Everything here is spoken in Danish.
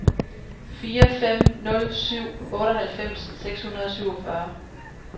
fire fem nul syv otteoghalvfems seks hundrede og syvogfyrre